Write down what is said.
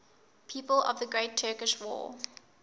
people of the great turkish war